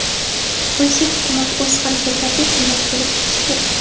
Rossiya hukumat o‘z harakatlarida shundan kelib chiqishi kerak.